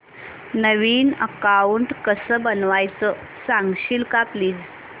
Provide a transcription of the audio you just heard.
नवीन account कसं बनवायचं सांगशील का प्लीज